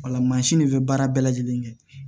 Wala mansin de bɛ baara bɛɛ lajɛlen kɛ